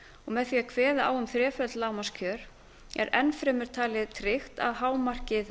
með því að kveða á um þreföld lágmarkskjör er enn fremur talið tryggt að hámarkið